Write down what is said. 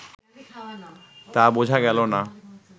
তা বোঝা গেল না